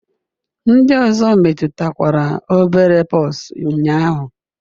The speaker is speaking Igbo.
Ndị ọzọ metụtakwara obere pox ụnyaahụ?